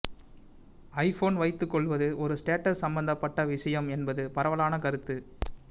iPhone வைத்துக் கொள்வது ஒரு ஸ்டேட்டஸ் சம்பந்தப்பட்ட விஷயம் என்பது பரவலான கருத்து